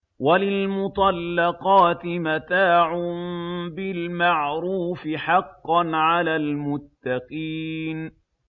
وَلِلْمُطَلَّقَاتِ مَتَاعٌ بِالْمَعْرُوفِ ۖ حَقًّا عَلَى الْمُتَّقِينَ